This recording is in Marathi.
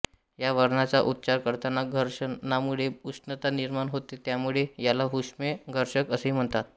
या वर्णाचा उच्चार करताना घर्षणामुळे उष्णता निर्माण होते त्यामुळे याला उष्मे घर्षक असेही म्हणतात